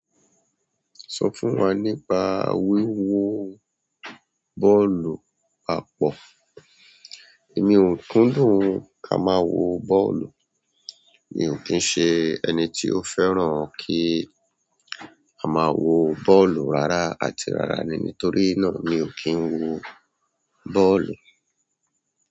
Sọ fún wa nípa wíwo bọ́ọ̀lù àpọ̀. Èmi ò kúndùn kí a máa wo bọ́ọ̀lù. Mi ò kí ń ṣe ẹni tí ó fẹ́ràn kí a máa wo bọ́ọ̀lù rárá àti rárá ni nítorí náà mi ò kí ń wo bọ́ọ̀lù.